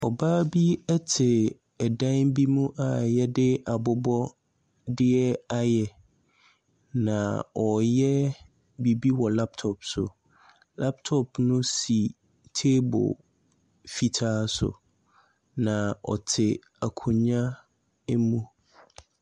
Ɔbaa bi te dan bi mu a wɔde abobɔdeɛ ayɛ, na ɔreyɛ biribi wɔ laptop so. Laptop no si table fitaa so, na ɔte akonnwa mu.